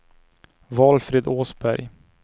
Valfrid Åsberg